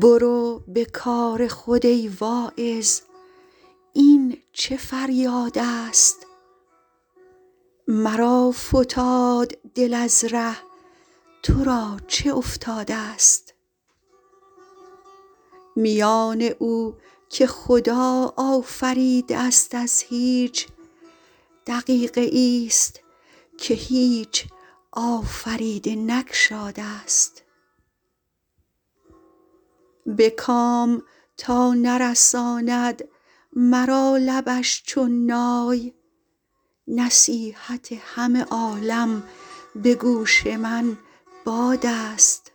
برو به کار خود ای واعظ این چه فریادست مرا فتاد دل از ره تو را چه افتادست میان او که خدا آفریده است از هیچ دقیقه ای ست که هیچ آفریده نگشادست به کام تا نرساند مرا لبش چون نای نصیحت همه عالم به گوش من بادست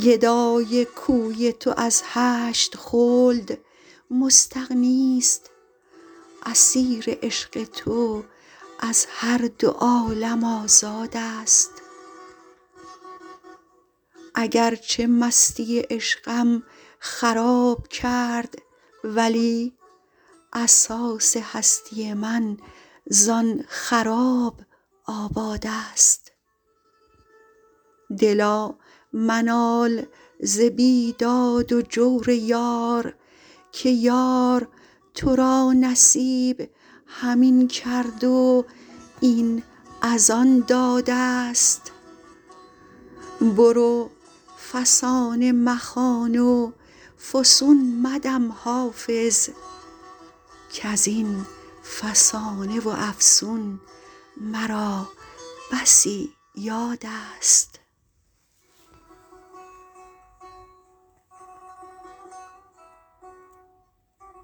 گدای کوی تو از هشت خلد مستغنی ست اسیر عشق تو از هر دو عالم آزادست اگر چه مستی عشقم خراب کرد ولی اساس هستی من زآن خراب آبادست دلا منال ز بیداد و جور یار که یار تو را نصیب همین کرد و این از آن دادست برو فسانه مخوان و فسون مدم حافظ کز این فسانه و افسون مرا بسی یادست